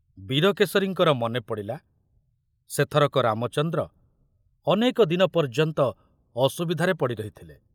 ବୀରକେଶରୀଙ୍କର ମନେ ପଡ଼ିଲା ସେଥରକ ରାମଚନ୍ଦ୍ର ଅନେକ ଦିନ ପର୍ଯ୍ୟନ୍ତ ଅସୁବିଧାରେ ପଡ଼ି ରହିଥିଲେ।